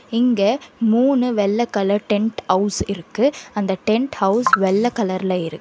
இங்க மூணு வெள்ள கலர் டெண்ட் ஹவுஸ் இருக்கு அந்த டெண்ட் ஹவுஸ் வெள்ள கலர்ல இருக்கு.